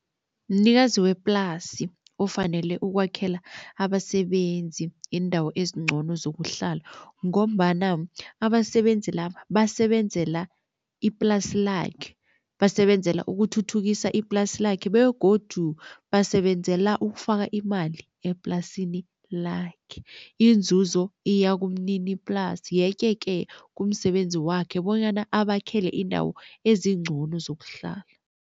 Mnikazi weplasi ofanele ukwakhela abasebenzi iindawo ezingcono zokuhlala ngombana abasebenzi laba, basebenzela iplasi lakhe. Basebenzela ukuthuthukisa iplasi lakhe begodu basebenzela ukufaka imali eplasini lakhe, iinzuzo iya kumniniplasi. Yeke-ke kumsebenzi wakhe bonyana abakhele iindawo ezingcono zokuhlala.